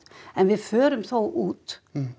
en við förum þó út